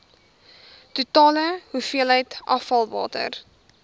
totale hoeveelheid afvalwater